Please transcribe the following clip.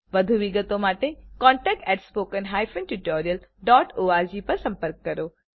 વધુ વિગતો માટે contactspoken tutorialorg પર સંપર્ક કરો